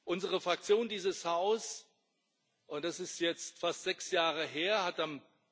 Unsere Fraktion, dieses Haus es ist jetzt fast sechs Jahre her hat am